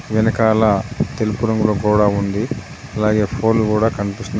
వెనకాల తెలుపు రంగులో గోడా ఉంది అలాగే ఫోన్లు కూడా కనిపిస్తున్నాయ్.